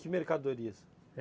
Que mercadorias?